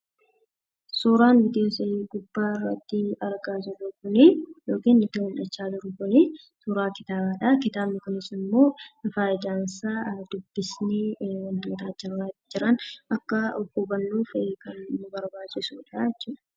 Suuraan nuti argaa jirru kun suuraa kitaabaadha. Kitaabni kunis immoo fayidaansaa dubbisnee wantoota achirra jiran akka hubannuufidha jechuudha.